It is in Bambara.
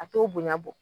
A t'o bonya bɔ